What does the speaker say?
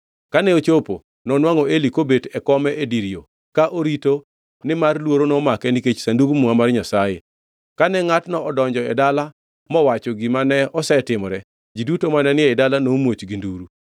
Kane ochopo, nonwangʼo Eli kobet e kome e dir yo, ka orito nimar luoro nomake nikech Sandug Muma mar Nyasaye. Kane ngʼatno odonjo e dala mowacho gima ne osetimore, ji duto mane ni ei dala nomuoch gi nduru.